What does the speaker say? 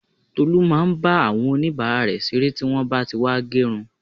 Tolu máa ń bá àwọn onibara rẹ ṣeré tí wọn bá tí wá gerun